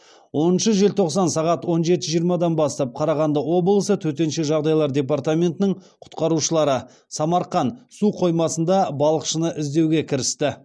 оныншы желтоқсан сағат он жеті жиырмадан бастап қарағанды облысы төтенше жағдайлар департаментінің құтқарушылары самарқан су қоймасында балықшыны іздеуге кірісті